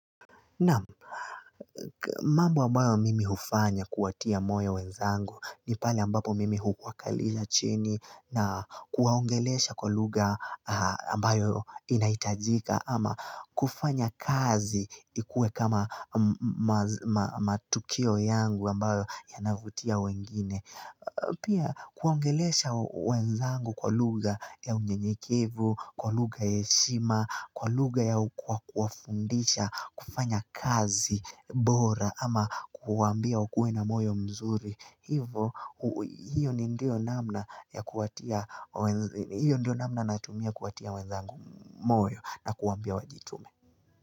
Naam mambo ambayo mimi hufanya kuwatia moyo wenzangu ni pale ambapo mimi huwakalisha chini na kuwaongelesha kwa lugha ambayo inahitajika ama kufanya kazi ikue kama matukio yangu ambayo yanavutia wengine. Pia kuongelesha wenzangu kwa lugha ya unyenyekevu, kwa lugha ya heshima, kwa lugha ya kwa wafundisha, kufanya kazi, bora. Ama kuambia wakue na moyo mzuri. Hivo hiyo ni ndio namna nayetumia kuatia wenzangu moyo na kuambia wajitume.